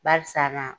Barisa naa